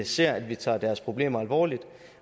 se at vi tager deres problemer alvorligt